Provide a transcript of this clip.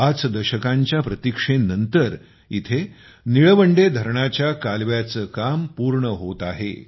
पाच दशकांच्या प्रतिक्षेनंतर येथे निळवंडे धरणाच्या कालव्याचे काम पूर्ण होत आहे